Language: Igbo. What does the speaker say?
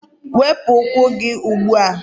Wepụ ụkwụ gị ugbu a!